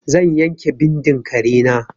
Zan yanke bindin kare na.